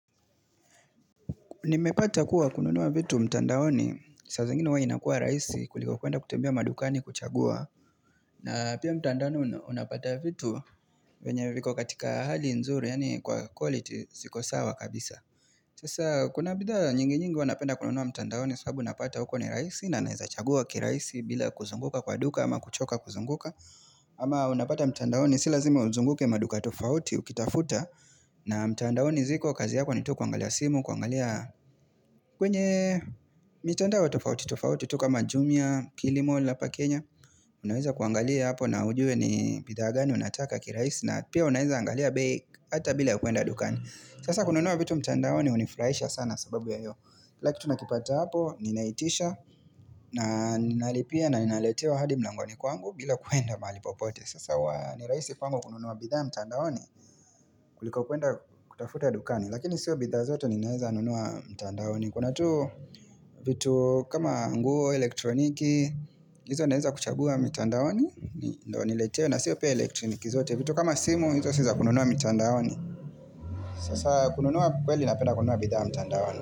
Nimepata kuwa kununua vitu mtandaoni, saa zingine huwa inakua rahisi kuliko kwenda kutembea madukani kuchagua na pia mtandaoni unapata vitu venye viko katika hali nzuri yani kwa quality ziko sawa kabisa Sasa kuna bidhaa nyingi nyingi huwa napenda kununua mtandaoni sababu napata huko ni rahisi na naeza chagua kirahisi bila kuzunguka kwa duka ama kuchoka kuzunguka ama unapata mtandaoni si lazima uzunguke maduka tofauti ukitafuta na mtandaoni ziko kazi yako ni tukuangalia simu, kuangalia kwenye mitandao tofauti, tofauti, tu kama jumia kilimall hapa Kenya Unaweza kuangalia hapo na ujue ni bidhaa gani unataka kirahisi na pia unaweza angalia bei hata bila ya kwenda dukani Sasa kununua vitu mtandaoni hunifurahisha sana sababu ya hiyo kila kitu tunakipata hapo, ninaitisha na ninalipia na ninaletewa hadi mlangoni kwangu bila kwenda mahali popote Sasa huwa nirahisi kwangu kununua bidhaa mtandaoni kuliko kwenda kutafuta dukani Lakini siyo bidhaa zote ninaeza nunua mtandaoni Kuna tu vitu kama nguo, elektroniki Izo naeza kuchagua mitandaoni ndio niletewe na siyo pia elektroniki zote vitu kama simu, izo siza kununua mitandaoni Sasa kununua kweli napenda kununua bidhaa mtandaoni.